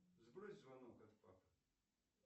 сбрось звонок от папы